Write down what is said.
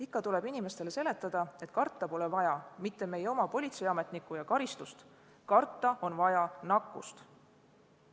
Ikka tuleb inimestele seletada, et karta pole vaja mitte politseiametnikku ja karistust, vaid karta on vaja nakkust.